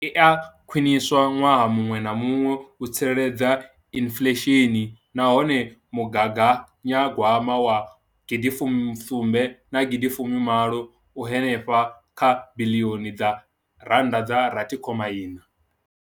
Iyi i a khwiniswa ṅwaha muṅwe na muṅwe u tsireledza inflesheni nahone mugaganya gwama wa gidi mbili fusumbe na gidi fumi malo u henefha kha biḽioni dza ran da dza rathi khoma iṋa.